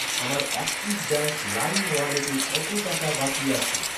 আমার অ্যাক্সিস ব্যাঙ্ক লাইম ওয়ালেটে কত টাকা বাকি আছে?